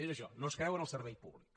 és això no es creu en el servei públic